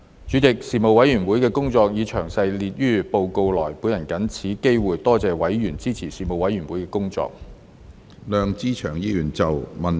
主席，事務委員會的工作已詳列於報告內，我藉此機會多謝委員支持事務委員會的工作。